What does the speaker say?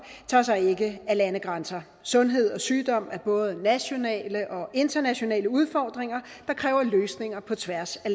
tager sig ikke af landegrænser sundhed og sygdom er både nationale og internationale udfordringer der kræver løsninger på tværs af